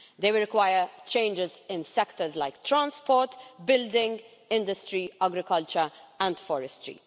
They will require changes in sectors like transport, building, industry, agriculture and forestry.